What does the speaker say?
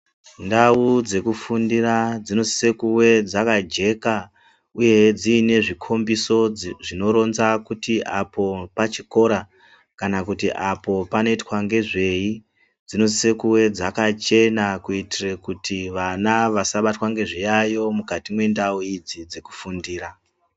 Ndau dzekufundira dzinosise kuwe dzakajeka uyehe dzinezvikhombiso, zvinoronza kuti apo pachikora kana kuti apo panoyitwa ngezveyi. Dzinosise kuve dzakachena kuyitire kuti vana vasabatwa ngezviyayo mukati mendau idzi dzekufundira.